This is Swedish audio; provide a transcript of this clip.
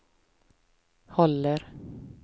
håller